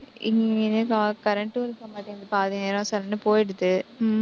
இங்க current டும் இருக்கமாட்டேங்குது பாதி நேரம் current போயிடுது.